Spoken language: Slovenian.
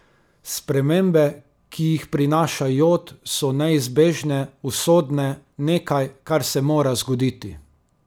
Spremembe, ki jih prinaša jod, so neizbežne, usodne, nekaj, kar se mora zgoditi.